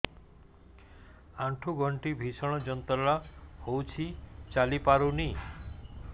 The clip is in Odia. ଆଣ୍ଠୁ ଗଣ୍ଠି ଭିଷଣ ଯନ୍ତ୍ରଣା ହଉଛି ଚାଲି ପାରୁନି